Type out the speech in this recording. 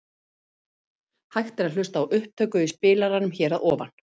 Hægt er að hlusta á upptöku í spilaranum hér að ofan.